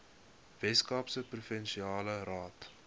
weskaapse provinsiale raad